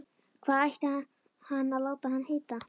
Hvað ætti hann að láta hann heita?